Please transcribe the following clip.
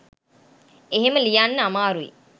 එහෙම ලියන්න අමාරුයි